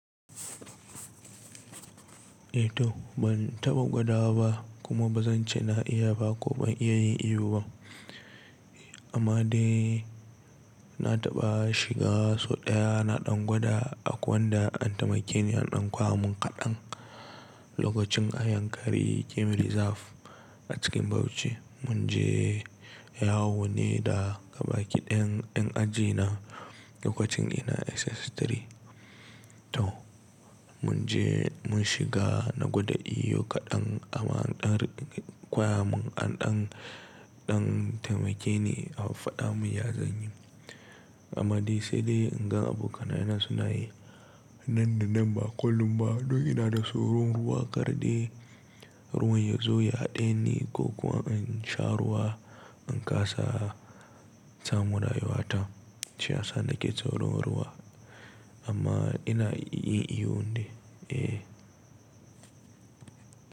Eh to, ban taɓa gwadawa ba kuma ba zan ce na iya ba ko ban iya yin iyo ba. Amma dai na taɓa shiga sau ɗaya na ɗan gwada a wanda an taimake ni an ɗan koya mun kaɗan lokacin a Yankari Game Reserve a cikin Bauchi. Mun je yawo ne da gabaƙi ɗayan 'yan aji na lokacin ina SS3. To mun je mun shiga na gwada iyo kaɗan amma an ɗan koya mun an ɗan, ɗan taimake ni an faɗa mun ya zan yi. Amma dai sai dai in gan abokanai ina suna yi nan da nan ba kullum ba. Don ina da tsoron ruwa karɗe, ruwan yazo yaɗai ne ko kuwa in sha ruwa, in ƙasa, ta mura yiwata shine sanda ke tsoron ruwa. Amma ina iya yin iyo ne, eh.